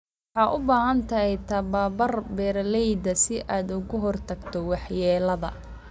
Waxaad u baahan tahay tababar beeralayda si aad uga hortagto waxyeelada.